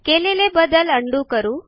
केलेले बदल उंडो करू